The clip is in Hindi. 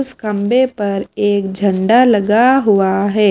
उस खंबे पर एक झंडा लगा हुआ है।